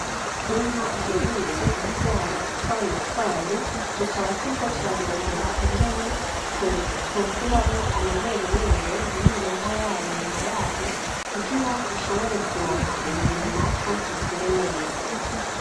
Inka iherutse kuvyara utwana twayo, tukaba turiko turarondera ingene twokuramwo amaberebere muriyo nka yayo nyina yayo, kugira dushobore kuronka umubiri natwo dukure neza.